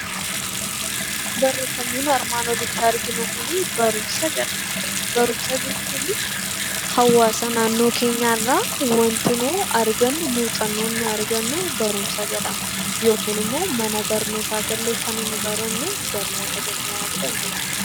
Barumsa jechuun hawaasa naannoo keenyaa irraa wanti nuti argannu muuxannoo nuti argannu barumsa jedhama. Yookiin immoo mana barnootaa gallee kan nuti barannu barnoota jennaan